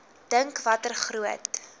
dink watter groot